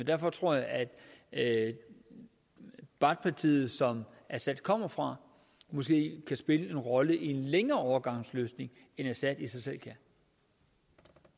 derfor tror jeg at baath partiet som assad kommer fra måske kan spille en rolle i en længere overgangsløsning end assad i sig